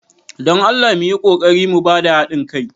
don Allah mu yi ƙoƙari mu ba da haɗin kai.